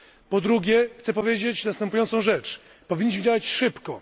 Po drugie, chcę powiedzieć następującą rzecz powinniśmy działać szybko.